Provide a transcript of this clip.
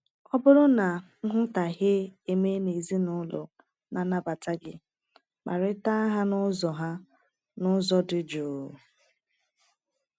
Ọ bụrụ na nghọtahie emee na ezinụlọ na-anabata gị, kparịta ha n’ụzọ ha n’ụzọ dị jụụ.